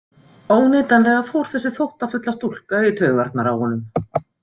Óneitanlega fór þessi þóttafulla stúlka í taugarnar á honum.